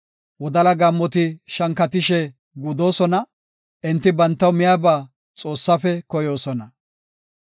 Wodala gaammoti shankatishe gudoosona; enti bantaw miyaba Xoossafe koyoosona.